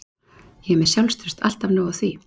Ég er með sjálfstraust, alltaf nóg af því.